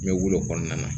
N bɛ wolo o kɔnɔna na